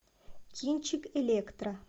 кинчик электро